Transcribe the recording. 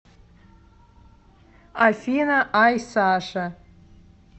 афина айсаша